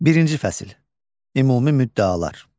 Birinci fəsil, Ümumi müddəalar.